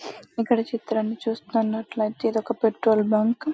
ఇక్కడి చిత్రాన్ని చూస్తున్నట్లయితే ఇది ఒక పెట్రోల్ బంక్.